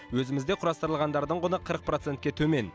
өзімізде құрастырылғандардың құны қырық процентке төмен